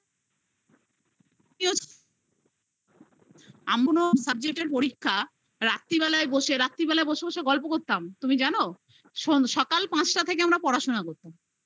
এমন subject এর পরীক্ষা রাত্রিবেলায় বসে, রাত্রিবেলা বসে বসে গল্প করতাম, তুমি জানো? সকাল পাঁচটা থেকে আমরা পড়াশোনা করতাম